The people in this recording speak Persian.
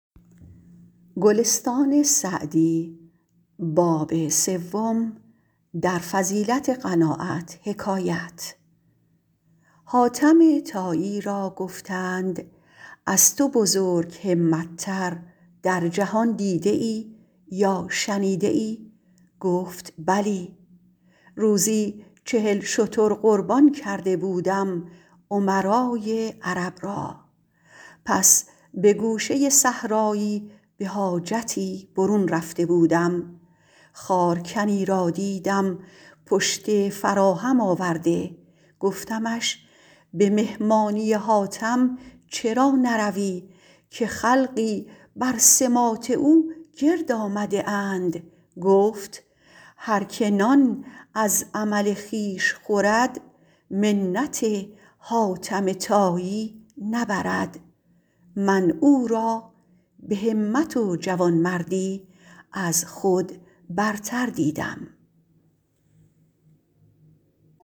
حاتم طایی را گفتند از تو بزرگ همت تر در جهان دیده ای یا شنیده ای گفت بلی روزی چهل شتر قربان کرده بودم امرای عرب را پس به گوشه صحرایی به حاجتی برون رفته بودم خارکنی را دیدم پشته فراهم آورده گفتمش به مهمانی حاتم چرا نروی که خلقی بر سماط او گرد آمده اند گفت هر که نان از عمل خویش خورد منت حاتم طایی نبرد من او را به همت و جوانمردی از خود برتر دیدم